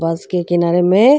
बस के किनारे में --